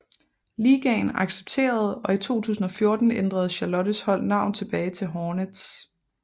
Ligaen accepterede og i 2014 ændrede Charlottes hold navn tilbage til Hornets